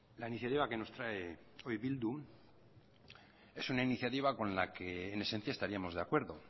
la iniciativa que nos trae hoy bildu es una iniciativa con la que en esencia estaríamos de acuerdo